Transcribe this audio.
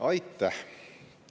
Aitäh!